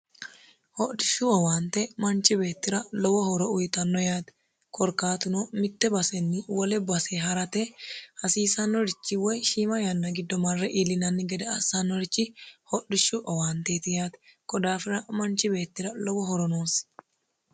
hodhishu owaante manchu beetira lowo owaante uyitanno yaate korkaatuno mitte basenni wole base harate hasiisannorichi woy shiima yanna giddo marre iilinanni gede assannorich hodhishu owaanteeti yaate konni daafira manchi beetira lowo horo uyitanno